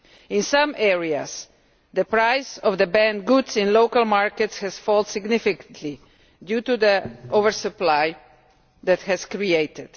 In some areas, the price of the banned goods in local markets has fallen significantly due to the oversupply that has been created.